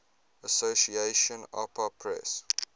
association apa press